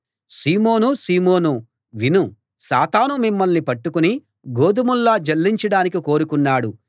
సీమోనూ సీమోనూ విను సాతాను మిమ్మల్ని పట్టుకుని గోదుమల్లా జల్లించడానికి కోరుకున్నాడు